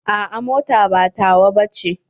A'a mota ba tawa ba ce.